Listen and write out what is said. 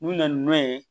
N'u nana n'a ye